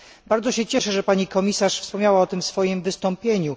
Bardzo się cieszę, że pani komisarz wspomniała o tym w swoim wystąpieniu.